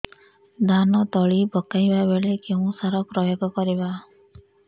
ଧାନ ତଳି ପକାଇବା ବେଳେ କେଉଁ ସାର ପ୍ରୟୋଗ କରିବା